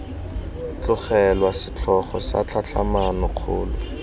tlogelwa setlhogo sa tlhatlhamano kgolo